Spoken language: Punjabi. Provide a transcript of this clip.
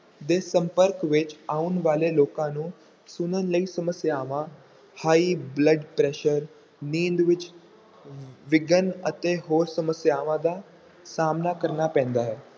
ਦੇ ਸੰਪਰਕ ਵਿੱਚ ਆਉਣ ਵਾਲੇ ਲੋਕਾਂ ਨੂੰ ਸੁਣਨ ਲਈ ਸਮੱਸਿਆਵਾਂ high blood pressure ਨੀਂਦ ਵਿੱਚ ਵਿਘਨ ਅਤੇ ਹੋਰ ਸਮੱਸਿਆਵਾਂ ਦਾ ਸਾਹਮਣਾ ਕਰਨਾ ਪੈਂਦਾ ਹੈ।